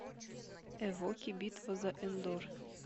эвоки битва за эндор